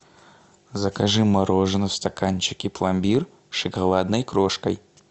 закажи мороженое в стаканчике пломбир с шоколадной крошкой